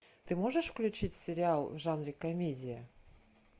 ты можешь включить сериал в жанре комедия